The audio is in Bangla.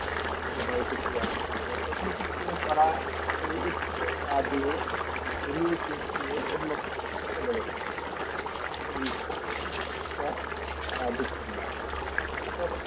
আহ সে বাড়িতে ফিরে আস্তে পারবে না তখন কিন্তু তারা সেই উত্তর না দিয়ে ঘুরিয়ে পেঁচিয়ে অন্য প্রশ্নতে চলে গেছে তারা কিন্তু সেই সঠিক তথটা আহ দিচ্ছেন না